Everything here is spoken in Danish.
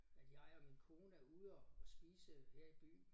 At jeg og min kone er ude at spise her i byen